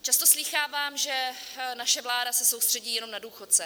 Často slýchávám, že naše vláda se soustředí jenom na důchodce.